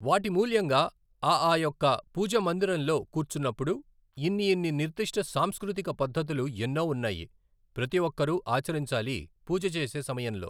వాటి మూల్యంగా ఆ ఆ యొక్క పూజ మందిరంలో కూర్చున్నప్పుడు ఇన్ని ఇన్ని నిర్దిష్ట సాంస్కృతిక పద్ధతులు ఎన్నో ఉన్నాయి ప్రతి ఒక్కరు ఆచరించాలి పూజ చేసే సమయంలో